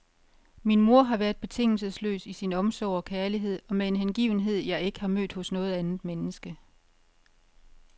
Min mor har været betingelsesløs i sin omsorg og kærlighed, og med en hengivenhed jeg ikke har mødt hos noget andet menneske.